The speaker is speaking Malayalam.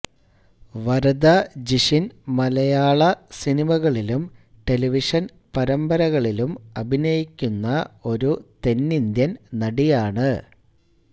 വരദ ജിഷിൻ മലയാള സിനിമകളിലും ടെലിവിഷൻ പരമ്പരകളിലും അഭിനയിക്കുന്ന ഒരു തെന്നിന്ത്യൻ നടിയാണ്